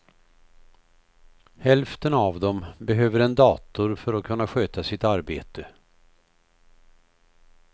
Hälften av dem behöver en dator för att kunna sköta sitt arbete.